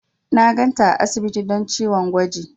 Na ganta a asibiti don ciwon gwaji.